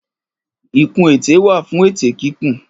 Ìkun ètè wà fún ètè kíkùn